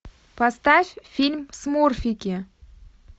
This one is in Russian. поставь фильм смурфики